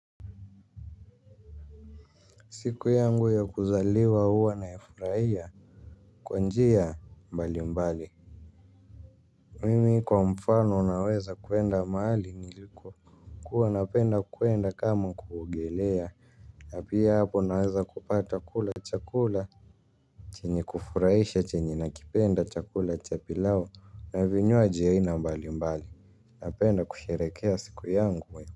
Siku yangu ya kuzaliwa huwa naifurahia kwa njia mbali mbali. Mimi kwa mfano naweza kuenda mahali niliko. Kuwa napenda kuenda kama kuugelea. Na pia hapo naweza kupata kula chakula chenye kufurahisha chenye nakipenda chakula chapilao na vinywaji aina mbali mbali. Napenda kusherekea siku yangu we.